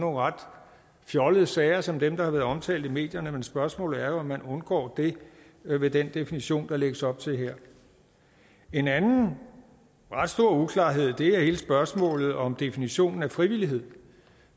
ret fjollede sager som dem der har været omtalt i medierne men spørgsmålet er jo om man undgår det med den definition der lægges op til her en anden ret stor uklarhed er hele spørgsmålet om definitionen af frivillighed